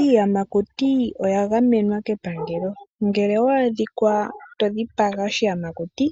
Iiyamakuti oya gamenwa kepangelo. Ngele owa adhikwa to dhipaga oshiyamakuti